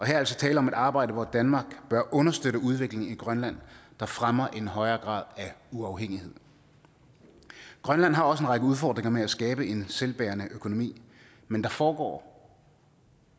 er altså tale om et arbejde hvor danmark bør understøtte en udvikling i grønland der fremmer en højere grad af uafhængighed grønland har også en række udfordringer med at skabe en selvbærende økonomi men der foregår